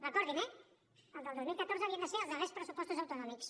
recordin ho eh els del dos mil catorze havien de ser els darrers pressupostos autonòmics